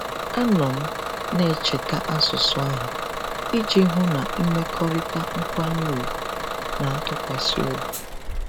Anọ m na-echeta asụsụ ahụ iji hụ na mmekọrịta nkwanye ùgwù na ntụkwasị obi.